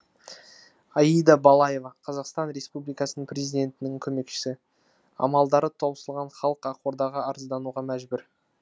аида балаева қазақстан республикасының президентінің көмекшісі амалдары таусылған халық ақордаға арыздануға мәжбүр